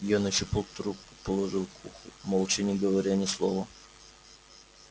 я нащупал трубку положил к уху молча не говоря ни слова